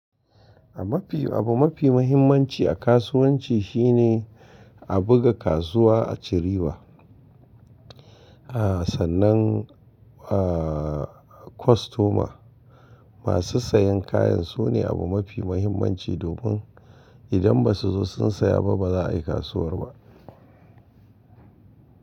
Mafi-- abu mafi muhimmanci a kasuwanci shine a buga kasuwa a ci riba. Sannan kostoma, masu sayan kayan su ne abu mafi muhimmanci domin idan ba su zo sun saya ba ba za a yi kasuwar ba.